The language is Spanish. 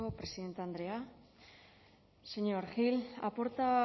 presidente andrea señor gil ha